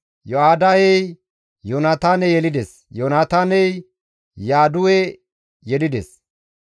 Yoyada7ey Yoonataane yelides; Yoonataaney Yaadu7e yelides.